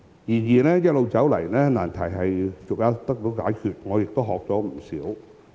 然而，一路走來，難題逐一得到解決，而我亦從中學懂不少。